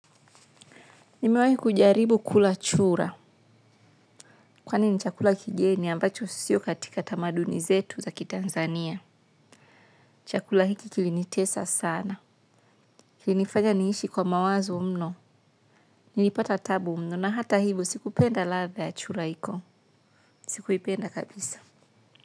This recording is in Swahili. Nimewai kujaribu kula chura. Kwani ni chakula kigeni ambacho sio katika tamaduni zetu za kitanzania. Chakula hiki kilinitesa sana. Kili nifanya niishi kwa mawazo mno. Nilipata taabu mno na hata hivyo sikupenda ladha ya chura hiko sikuipenda kabisa.